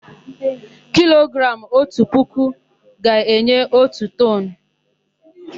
Kilogramụ otu puku ga-enye otu toonu.